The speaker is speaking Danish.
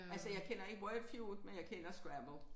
Altså jeg kender ikke Wordfued men jeg kender scrabble